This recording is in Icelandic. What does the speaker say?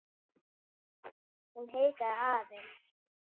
Hún hikaði aðeins.